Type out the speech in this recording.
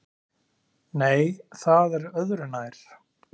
Nei, það er öðru nær!